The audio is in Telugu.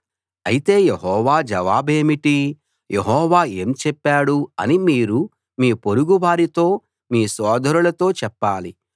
అయితే యెహోవా జవాబేమిటి యెహోవా ఏం చెప్పాడు అని మీరు మీ పొరుగువారితో మీ సోదరులతో చెప్పాలి